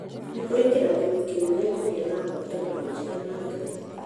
Nĩ kĩrathimo kĩnene kũgĩa na ngwatanĩro njega na Ngai